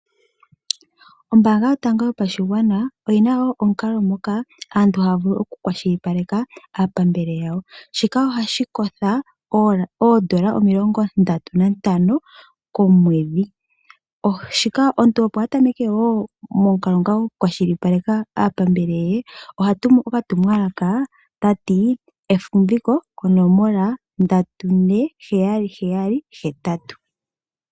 Ombaanga yotango yopashigwana oyi na wo omukalo moka aantu haya vulu okukwashilipaleka aapambele yawo. Shika ohashi kotha N$ 35 komwedhi. Omuntu opo akwashililpaleke aapambele ye oha tumu okatumwalaka ta ti: "Efumviko" konomola 34778.